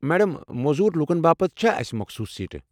Madam, موزوٗر لوٗكن باپت چھا اسہِ مخصوٗص سیٹہٕ ۔